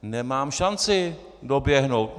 Nemám šanci doběhnout.